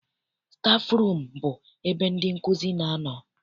Stafụrum bụ ebe ndị nkụzi na-anọ.